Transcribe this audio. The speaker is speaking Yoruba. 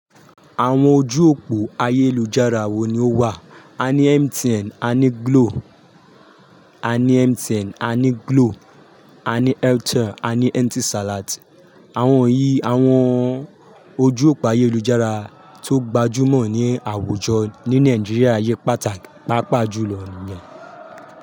Àwọn ojú òpó ayélujára wo ni ó wà? A ní MTN a ní Glo, a ní MTN a ní Glo, a ní Airtel a ní Etisalat. Àwọn yìí, àwọn ojú òpó ayélujára tó gbajúmọ̀ ní àwùjọ ní Nàìjíríà yí pàápàá jù lọ nìyẹn.